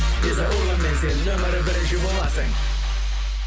виза урбанмен сен нөмірі бірінші боласың